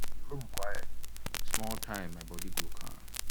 if room quiet small time my body go calm.